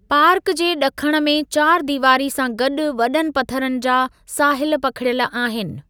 Park जे ॾखण में चारि दीवारी सां गॾु वॾनि पथरनि जा साहिल पखिड़ियल आहिनि।